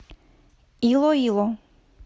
илоило